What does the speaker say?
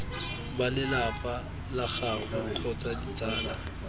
balelapa la gagwe kgotsa ditsala